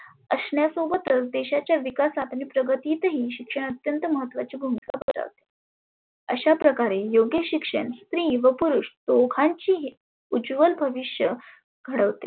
असण्या सोबतच देशाच्या विकासात आणि प्रगतीत ही शिक्षण अत्यंत महत्वाचे भुमीका बजावते. अशा प्रकारे योग्य शिक्षण स्त्री व पुरुष दोघांची ही उज्वल भविष्य घडविते.